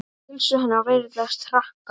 Heilsu hennar virðist hraka.